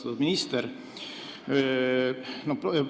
Austatud minister!